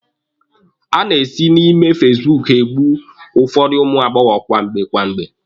A na-esi na ime fasibuuku egbu ụfọdụ ụmụ agbọbịa kwamgbe kwamgbe.